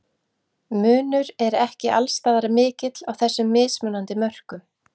Munur er ekki alls staðar mikill á þessum mismunandi mörkum.